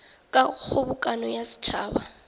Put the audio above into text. ka go kgobokano ya setšhaba